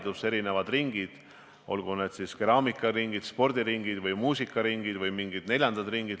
Tegutsevad erinevad ringid, olgu need keraamikaringid, spordiringid, muusikaringid või mingid muud ringid.